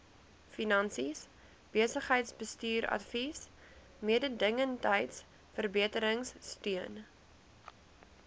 finansies besigheidsbestuursadvies mededingendheidsverbeteringsteun